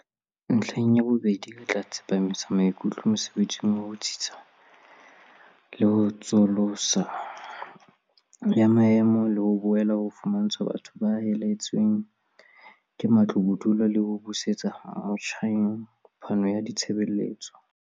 "Ntlheng ya bobedi, re tla tsepamisa maikutlo mosebetsing wa ho tsitsisa le ho tsosoloso ya maemo, le ho boela ho fumantshwa batho ba helehetsweng ke matlo bodulo le ho busetsa motjheng phano ya ditshebeletso."